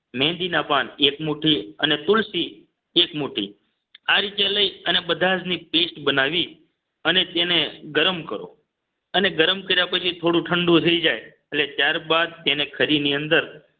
મેંદી ના પાન એક મુઠ્ઠી અને તુલસી એક મુઠ્ઠી આ રીતે લઈ અને બધાજ ની paste બનાવી અને તેને ગરમ કરો અને ગરમ કર્યા પછી થોડું ઠંડુ થઈ જાય એટલે ત્યાર બાદ તેને ખરી ની અંદર